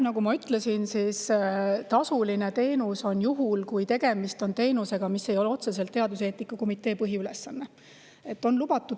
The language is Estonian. Nagu ma ütlesin, teenus on tasuline juhul, kui tegemist on teenusega, mis ei ole otseselt teaduseetika komitee põhiülesanne.